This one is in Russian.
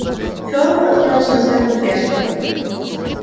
фёрл откинулся на спинку кресла